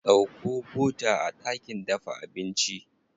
Ɗauko bota a ɗakin dafa abinci.